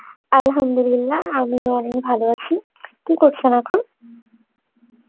Arbi আমি অনেক ভালো আছি, কী করছেন এখন?